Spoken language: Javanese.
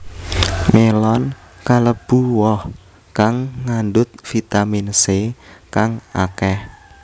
Melon kalebu woh kang ngandhut vitamin C kang akeh